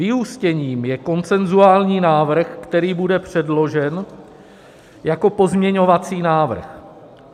Vyústěním je konsenzuální návrh, který bude předložen jako pozměňovací návrh.